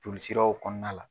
Jolisiraw kɔnɔna la.